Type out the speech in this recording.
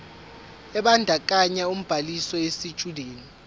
ebandakanya ubhaliso yesitshudeni